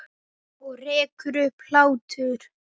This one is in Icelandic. Og rekur upp hlátur.